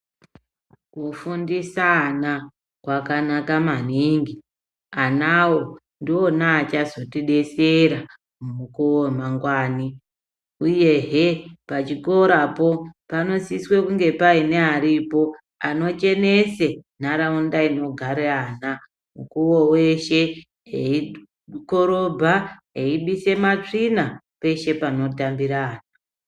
Kufundisa ana kwakanaka maningi. Anawo ndiwona achazotidzetsera mumukuwo wemangwani, uyuhe pachikorapo panosiswe kunge paine aripo anochenese nharaunda inogare ana mukuwo weshe eikorobha, eibise matsvina peshe panotambira ana.